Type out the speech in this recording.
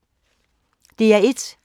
DR1